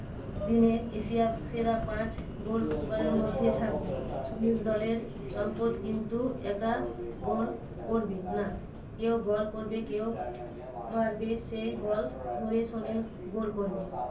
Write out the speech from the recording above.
দিনে এশিয়ার সেরা পাঁচ goalkeeper এর মধ্যে থাকবে। সুনীল দলের সম্পদ কিন্তু একা goal করবে না। কেউ বল করবে কেউ মারবে সেই বল ধরে সুনীল goal করবে।